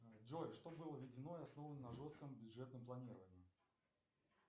джой что было введено и основано на жестком бюджетном планировании